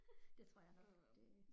Det tror jeg nok det